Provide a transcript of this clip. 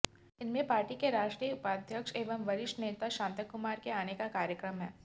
इनमें पार्टी के राष्ट्रीय उपाध्यक्ष एवं वरिष्ठ नेता शांता कुमार के आने का कार्यक्रम है